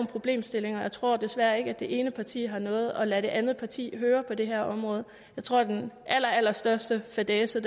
problemstillinger og jeg tror desværre ikke det ene parti har noget at lade det andet parti høre på det her område jeg tror den allerallerstørste fadæse